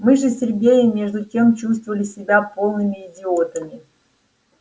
мы же с сергеем между тем чувствовали себя полными идиотами